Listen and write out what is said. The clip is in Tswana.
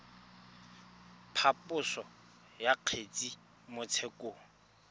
phaposo ya kgetse mo tshekong